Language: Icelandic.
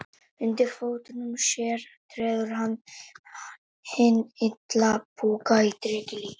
Undir fótum sér treður hann hinn illa púka í dreka líki.